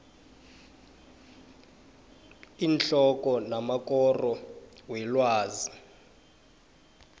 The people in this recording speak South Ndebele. iinhloko namakoro welwazi